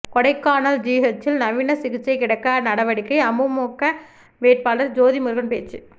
கொடைக்கானல் ஜிஹெச்சில் நவீன சிகிச்சை கிடைக்க நடவடிக்கை அமமுக வேட்பாளர் ஜோதிமுருகன் பேச்சு